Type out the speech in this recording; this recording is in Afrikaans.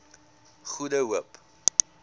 goede hoop